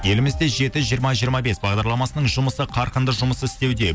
елімізде жеті жиырма жиырма бес бағдарламасының жұмысы қарқынды жұмыс істеуде